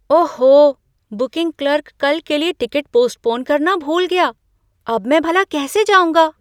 ओहो! Booking clerk कल के लिए टिकट पोस्टपोन करना भूल गया। अब मैं भला कैसे जाऊँगा?